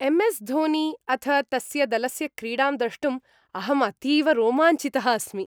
एम्.एस्.धोनी अथ तस्य दलस्य क्रीडां द्रष्टुम् अहम् अतीव रोमाञ्चितः अस्मि।